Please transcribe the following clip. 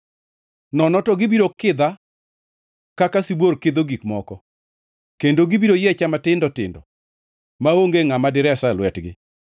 nono to gibiro kidha kaka sibuor kidho gik moko. Kendo gibiro yiecha matindo tindo maonge ngʼama diresa e lwetgi.